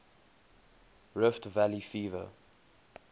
rift valley fever